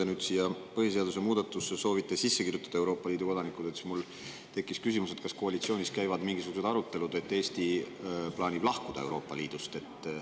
Kuna te nüüd põhiseaduse muudatusse soovite sisse kirjutada Euroopa Liidu kodanikud, siis mul tekkis küsimus, kas koalitsioonis käivad mingisugused arutelud, et Eesti plaanib lahkuda Euroopa Liidust.